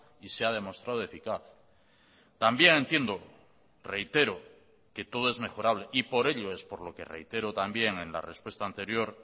y se ha demostrado eficaz también entiendo reitero que todo es mejorable y por ello es por lo que reitero también en la respuesta anterior